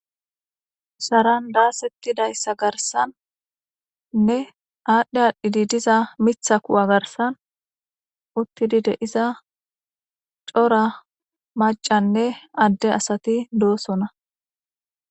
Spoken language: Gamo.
Sharran dasetidayissa garisanne adhi adhi diza miththaa Ku'a garssan uttidi de'iza Cora maccane adde asati doossona.